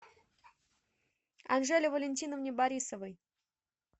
анжеле валентиновне борисовой